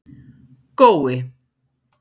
Gói